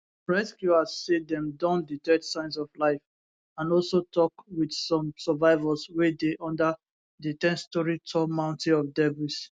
rescuers say dem don detect signs of life and also tok wit some survivors wey dey under di 10storey tall mountain of debris